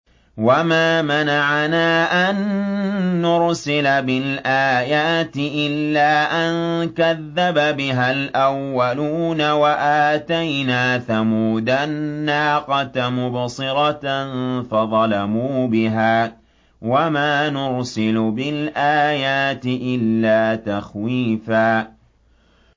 وَمَا مَنَعَنَا أَن نُّرْسِلَ بِالْآيَاتِ إِلَّا أَن كَذَّبَ بِهَا الْأَوَّلُونَ ۚ وَآتَيْنَا ثَمُودَ النَّاقَةَ مُبْصِرَةً فَظَلَمُوا بِهَا ۚ وَمَا نُرْسِلُ بِالْآيَاتِ إِلَّا تَخْوِيفًا